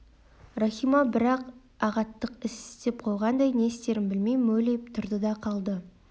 рахима бір үлкен ағаттық іс істеп қойғандай не істерін білмей мөлиіп тұрды да қалды